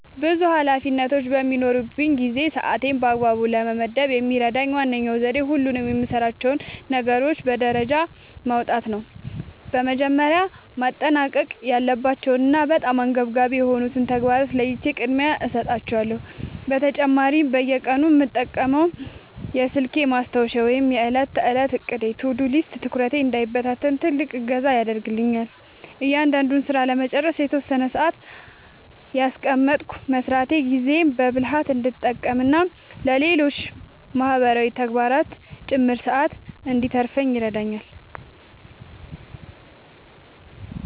ብዙ ኃላፊነቶች በሚኖሩኝ ጊዜ ሰዓቴን በአግባቡ ለመመደብ የሚረዳኝ ዋነኛው ዘዴ ሁሉንም የምሠራቸውን ነገሮች በደረጃ ማውጣት ነው። መጀመሪያ ማጠናቀቅ ያለባቸውንና በጣም አንገብጋቢ የሆኑትን ተግባራት ለይቼ ቅድሚያ እሰጣቸዋለሁ። በተጨማሪም በየቀኑ የምጠቀመው የስልኬ ማስታወሻ ወይም የዕለት ተዕለት ዕቅድ (To-Do List) ትኩረቴ እንዳይበታተን ትልቅ እገዛ ያደርግልኛል። እያንዳንዱን ሥራ ለመጨረስ የተወሰነ ሰዓት እያስቀመጥኩ መሥራቴ ጊዜዬን በብልሃት እንድጠቀምና ለሌሎች ማህበራዊ ተግባራትም ጭምር ሰዓት እንድተርፈኝ ይረዳኛል።